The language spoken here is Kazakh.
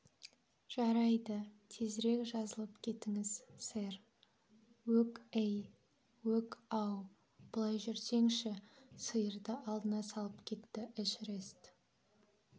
жарайды тезірек жазылып кетіңіз сэр өк әй өк ау былай жүрсеңші сиырды алдына салып кетті эшерест